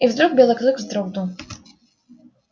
и вдруг белый клык вздрогнул